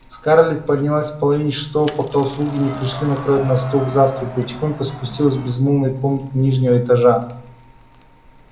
скарлетт поднялась в половине шестого пока слуги не пришли накрывать на стол к завтраку и тихонько спустилась в безмолвные комнаты нижнего этажа